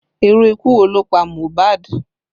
Irú ikú wo ló pa MOHBAD?